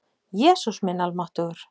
Jesús minn almáttugur!